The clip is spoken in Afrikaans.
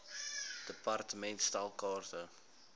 department stel kaarte